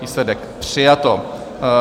Výsledek: přijato.